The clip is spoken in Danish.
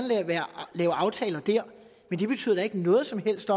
lave aftaler der men det betyder da ikke noget som helst